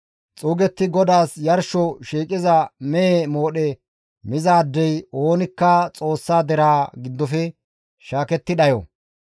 Xuugetti GODAAS yarsho shiiqiza mehe moodhe mizaadey oonikka Xoossa deraa giddofe shaaketti dhayo.